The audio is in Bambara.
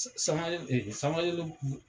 Sanba Jalo Sanba Jalo